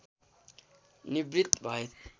निवृत्त भए